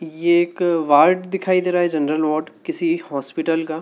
ये एक वार्ड दिखाई दे रहा है जनरल वॉर्ड किसी हॉस्पिटल का।